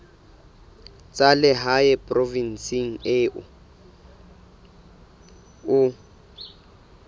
tsa lehae provinseng eo o